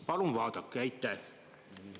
Palun vaadake!